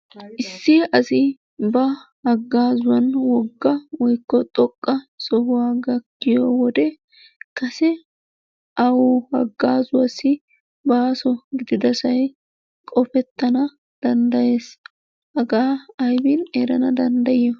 Issi asi ba hagaazuwan wogga woyikko xoqqa sohuwaa gakkiyo wode kase awu hegaa gaasuwaassi baaso gididasay qofettana danddayes. Hagaa aybin erana danddayiyo?